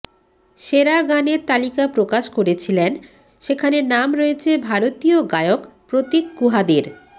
সেরা গানের তালিকা প্রকাশ করেছিলেন সেখানে নাম রয়েছে ভারতীয় গায়ক প্রতীক কুহাদের